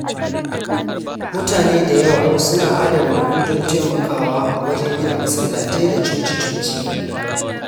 Mutane da yawa suna adana kudi don taimakawa wajen gina masallatai da coci-coci.